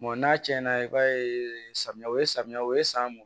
n'a cɛn na i b'a yeee samiya o ye samiya o ye san m